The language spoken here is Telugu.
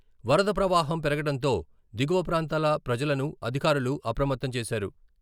వరద ప్రవాహం పెరగటంతో దిగువ ప్రాంతాల ప్రజలను అధికారులు అప్రమత్తం చేశారు.